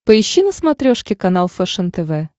поищи на смотрешке канал фэшен тв